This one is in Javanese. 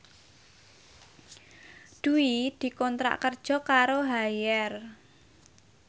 Dwi dikontrak kerja karo Haier